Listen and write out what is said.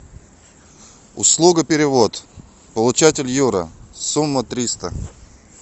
услуга перевод получатель юра сумма триста